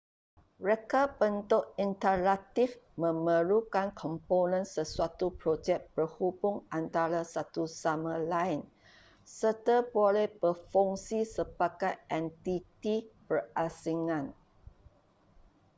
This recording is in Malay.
reka bentuk interaktif memerlukan komponen sesuatu projek berhubung antara satu sama lain serta boleh berfungsi sebagai entiti berasingan